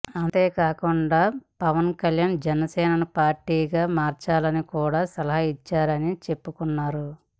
అంతేకాకుండా పవన్ కళ్యాణ్ జనసేనను పార్టీగా మార్చాలని కూడా సలహా ఇచ్చానని చెప్పుకున్నారు